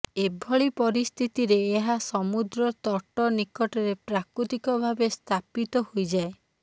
ଏଭଳି ପରିସ୍ଥିତିରେ ଏହା ସମୁଦ୍ର ତଟ ନିକଟରେ ପ୍ରାକୃତିକ ଭାବେ ସ୍ଥାପିତ ହୋଇଯାଏ